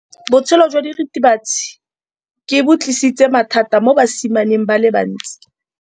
Botshelo jwa diritibatsi ke bo tlisitse mathata mo basimaneng ba bantsi.